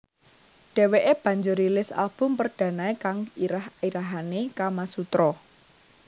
Dheweke banjur rilis album perdanae kang irah irahane Kamasutra